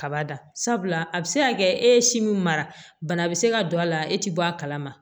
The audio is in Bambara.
Kaba da sabula a bi se ka kɛ e ye si min mara bana bɛ se ka don a la e ti bɔ a kalama